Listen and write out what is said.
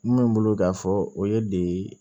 Mun bɛ n bolo k'a fɔ o ye de